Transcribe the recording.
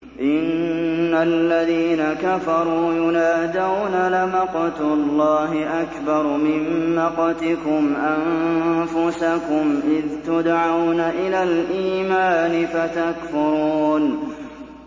إِنَّ الَّذِينَ كَفَرُوا يُنَادَوْنَ لَمَقْتُ اللَّهِ أَكْبَرُ مِن مَّقْتِكُمْ أَنفُسَكُمْ إِذْ تُدْعَوْنَ إِلَى الْإِيمَانِ فَتَكْفُرُونَ